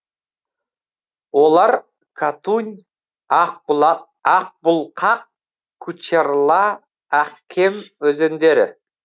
олар катунь ақбұлқақ кучерла ақкем өзендері